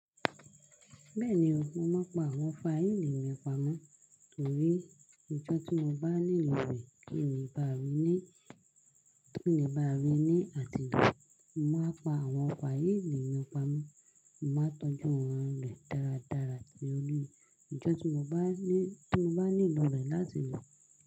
Bẹ́ẹ̀ni o, mo máa pa àwọn faili mi pamọ́ torí ijọ́ tí mo bá nílò rẹ̀ ki le bá ri ní, ki le bá ri ní àtilo. Mo máa pa àwọn faili mi pamọ́, mo máa tọ́jú wọ́n rẹ̀ dáradára bí oni. Ijọ́ tí mo bá ní, tí mo bá nílò rẹ̀ láti lò.